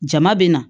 Jama bɛ na